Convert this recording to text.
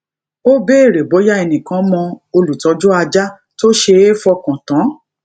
ó béèrè bóyá ẹnìkan mọ olutoju aja tó ṣe é fọkan tan